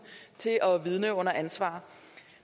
til at vidne under ansvar